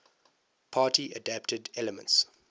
party adapted elements